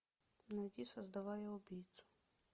найди создавая убийцу